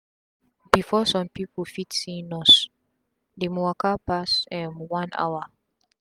before sum pipu fit see nurse dem waka pass um one hour